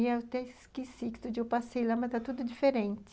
E eu até esqueci de onde eu passei lá, mas está tudo diferente.